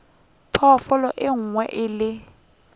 phoofolo e nngwe le e